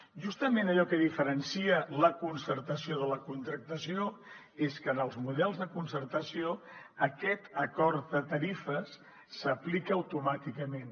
justament allò que diferencia la concertació de la contractació és que en els models de concertació aquest acord de tarifes s’aplica automàticament